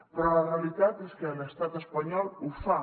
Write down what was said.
però la realitat és que l’estat espanyol ho fa